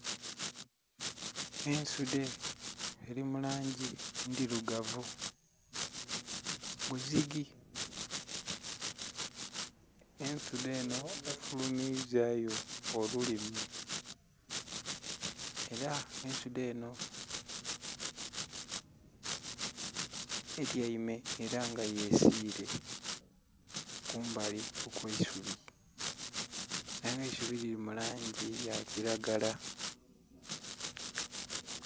Ensudhe eli mu langi ndhilugavu bwe zigi. Ensudhe enho efulumizaayo olulimi ela ensudhe enho etyaime yesiile kumbali okw'eisubi. Aye nga eisubi lili mu langi eya kilagala.